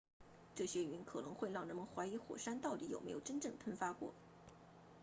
这些云可能会让人们怀疑火山到底有没有真正喷发过